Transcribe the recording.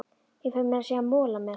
Ég fæ meira að segja mola með.